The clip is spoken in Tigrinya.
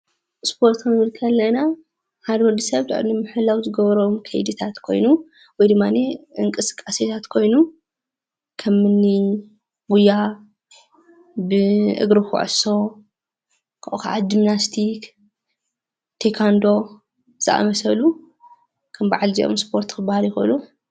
ስፖርት ክንብል ኸለና ሓደ ወድ ሰብ ጥዕንኡ ንምሕላው ዝገብሮም ከይድታት ኾይኑ ወይ ድማኒ እንቅስቃሴታት ኾይኑ ከም እኒ ጉያ፣ ብእግሪ ኩዕሶ ኻብኡ ከዓ ጅምናስቲክ፣ ቴኳንዶ ዝኣምሰሉ ከም በዓል እዚኦም ስፖርት ክባሃሉ ይኽእሉ፡፡